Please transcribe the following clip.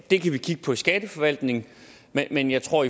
det kan vi kigge på i skatteforvaltningen men jeg tror